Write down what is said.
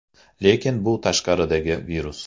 Lekin bu tashqaridagi virus.